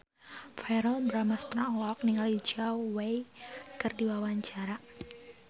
Verrell Bramastra olohok ningali Zhao Wei keur diwawancara